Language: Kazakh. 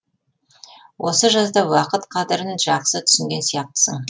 осы жазда уақыт қадірін жаақсы түсінген сияқтысың